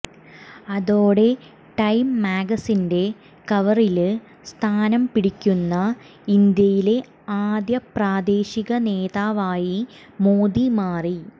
അതോടെ ടൈം മാഗസിന്റെ കവറില് സ്ഥാനം പിടിക്കുന്ന ഇന്ത്യയിലെ ആദ്യ പ്രാദേശിക നേതാവായി മോദി മാറി